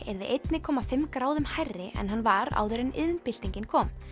yrði einni komma fimm gráðum hærri en hann var áður en iðnbyltingin kom